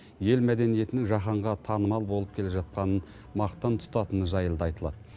ел мәдениетінің жаһанға танымал болып келе жатқанын мақтан тұтатыны жайлы да айтылады